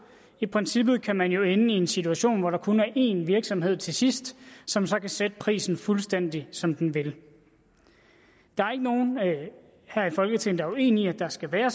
i princippet kan man jo ende i en situation hvor der kun er én virksomhed til sidst som så kan sætte prisen fuldstændig som den vil der er ikke nogen her i folketinget der er uenige i at der skal være